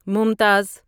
ممتاز